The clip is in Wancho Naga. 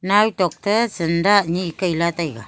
naw tok ta zanda anye Kai la taega.